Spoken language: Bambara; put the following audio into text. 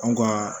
Anw ka